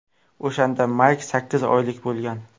O‘shanda Mayk sakkiz oylik bo‘lgan.